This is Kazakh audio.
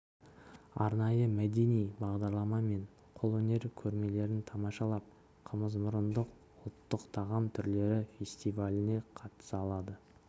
арнайы мәдени бағдарлама мен қол өнер көрмелерін тамашалап қымызмұрындық ұлтық тағам түрлері фестиваліне қатыса алады